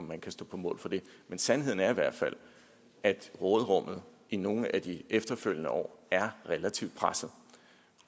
man kan stå på mål for det men sandheden er i hvert fald at råderummet i nogle af de efterfølgende år er relativt presset